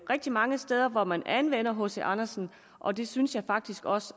rigtig mange steder hvor man anvender hc andersen og det synes jeg faktisk også